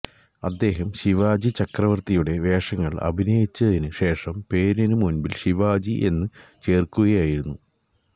അദ്ദേഹം ശിവാജി ചക്രവർത്തിയുടെ വേഷങ്ങൾ അഭിനയിച്ചതിനു ശേഷം പേരിനു മുൻപിൽ ശിവാജി എന്ന് ചേർക്കുകയായിരുന്നു